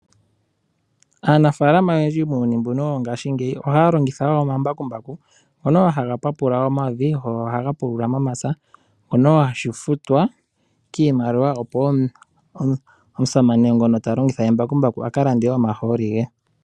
Aanafalama oyendji muuyuni mbuno wongashingeyi ohaya longitha wo oma mbakumbaku. Ngono wo haga papula omavi go ohaga pulula momapya, ngono wo haga futwa kiimaliwa opo wo omusamane ngono talongitha embakumbaku akalande omahooli ge.